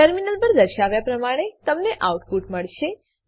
terminal પર દર્શાવ્યા પ્રમાણે તમને આઉટપુટ મળશે